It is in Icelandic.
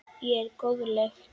Ég er góðleg.